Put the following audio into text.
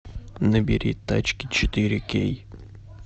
набери тачки четыре кей